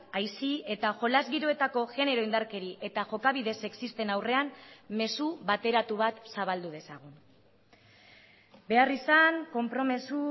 aisi eta jolas giroetako genero indarkeri eta jokabide sexisten aurrean mezu bateratu bat zabaldu dezagun beharrizan konpromiso